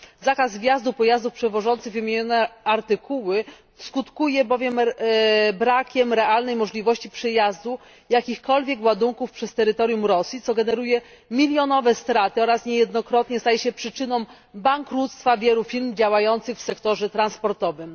Zakaz wjazdu pojazdów przewożących wymienione artykuły skutkuje bowiem brakiem realnej możliwości przejazdu jakichkolwiek ładunków przez terytorium Rosji, co generuje milionowe straty oraz niejednokrotnie staje się przyczyną bankructwa wielu firm działających w sektorze transportowym.